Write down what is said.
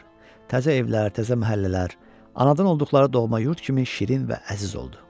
Təzə evlər, təzə məhəllələr, anadan olduqları doğma yurd kimi şirin və əziz oldu.